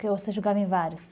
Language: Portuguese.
Porque você jogava em vários.